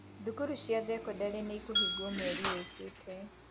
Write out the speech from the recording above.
Thukuru cia thekondarĩ nĩikũhingũo mweri ũkĩte.